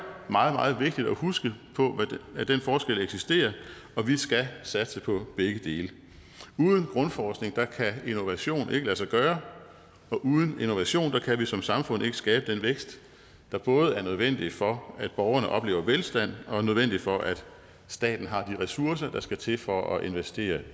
meget meget vigtigt at huske på at den forskel eksisterer og vi skal satse på begge dele uden grundforskning kan innovation ikke lade sig gøre og uden innovation kan vi som samfund ikke skabe den vækst der både er nødvendig for at borgerne oplever velstand og nødvendig for at staten har de ressourcer der skal til for at investere